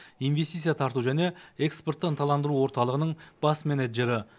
инвестиция тарту және экспортты ынталандыру орталығының бас менеджері